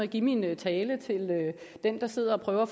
give min tale til den der sidder og prøver